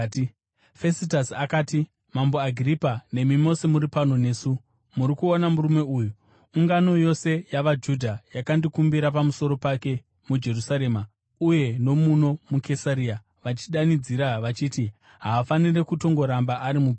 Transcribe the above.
Fesitasi akati, “Mambo Agiripa nemi mose muri pano nesu, muri kuona murume uyu! Ungano yose yavaJudha yakandikumbira pamusoro pake muJerusarema uye nomuno muKesaria, vachidanidzira vachiti haafaniri kutongoramba ari mupenyu.